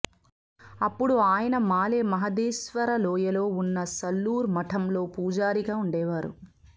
అప్పుడు ఆయన మాలె మహదేశ్వర లోయలో ఉన్న సల్లూర్ మఠంలో పూజారిగా ఉండేవారు